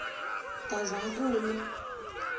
gazankulu